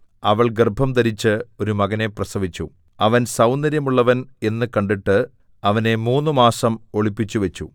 അവൾ ഗർഭംധരിച്ച് ഒരു മകനെ പ്രസവിച്ചു അവൻ സൗന്ദര്യമുള്ളവൻ എന്നു കണ്ടിട്ട് അവനെ മൂന്നുമാസം ഒളിപ്പിച്ചുവച്ചു